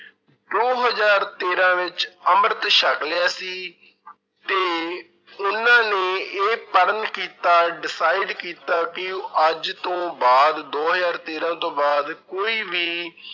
ਦੋ ਹਜ਼ਾਰ ਤੇਰਾਂ ਵਿੱਚ ਅੰਮ੍ਰਿਤ ਛਕ ਲਿਆ ਸੀ ਤੇ ਇਹਨਾਂ ਨੇ ਇਹ ਪ੍ਰਣ ਕੀਤਾ decide ਕੀਤਾ ਕਿ ਉਹ ਅੱਜ ਤੋਂ ਬਾਅਦ ਦੋ ਹਜ਼ਾਰ ਤੇਰਾਂ ਤੋਂ ਬਾਅਦ ਕੋਈ ਵੀ